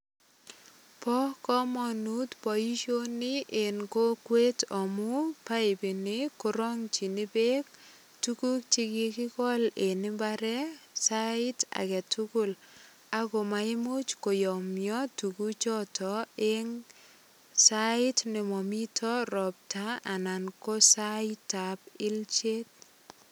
Bo kamanut boisioni en kokwet amu paipini korongchin beek tuguk che kigigol eng imbaret sait agetugul ak komaimuch koyomyo tuguchoto eng sait ne mamito ropta anan ko saitab ilchet.